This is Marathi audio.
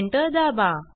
एंटर दाबा